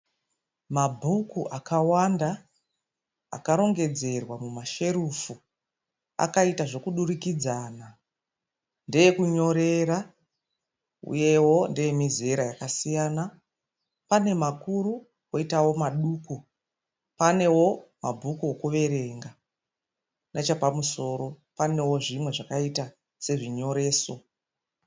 Mabhuku akawanda akarongedzerwa mumasherufu. Akaita zvekudirikidzana. Ndeekunyorera uyewo ndeemizera yakasiyana. Pane makuru poitawo maduku. Panewo mabhuku okuverenga. Nechepamusoro panewo zvimwe zvakaita sezvinyoreso.